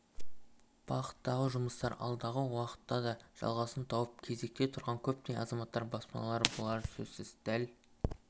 бағыттағы жұмыстар алдағы уақытта да жалғасын тауып кезекте тұрған көптеген азаматтар баспаналы болары сөзсіз дәл